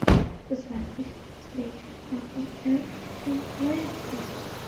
запись встречи апл эвертон лестер